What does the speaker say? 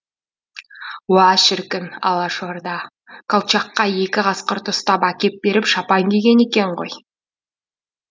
уа шіркін алашорда колчакқа екі қасқырды ұстап әкеп беріп шапан киген екен ғой